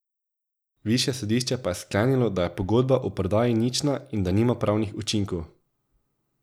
Višje sodišče pa je sklenilo, da je pogodba o prodaji nična in da nima pravnih učinkov.